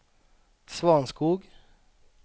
Svanskog